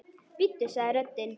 Bíddu sagði röddin.